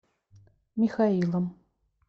михаилом